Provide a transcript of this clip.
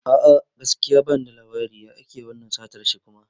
A'a, gaskiya bani da labari, ya ake wannan satar shi kuma?